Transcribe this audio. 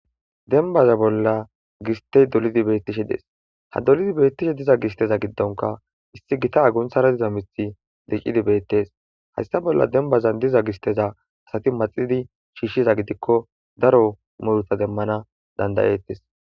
denbaza bolla gistey dolidi beettishe des, ha dolidi beettishe diza gisteza giddonka issi gita agunthara diza mithi diccidi beettes hayssa bolla dembazan diza gisteza asati maxidi shiishshiza gidikko daro muruta demmana danda''etes.